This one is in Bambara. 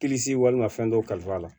walima fɛn dɔw kalifa la